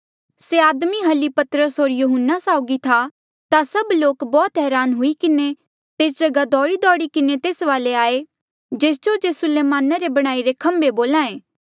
से आदमी हली पतरस होर यहून्ना साउगी था ता सभ लोक बौह्त हरान हुई किन्हें तेस जगहा दौड़ीदौड़ी किन्हें तेस वाले आये जेस जो जे सुलेमाना रे बणाईरे खम्बे बोल्हा ऐें